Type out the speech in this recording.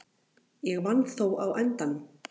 Ég vann þó á endanum.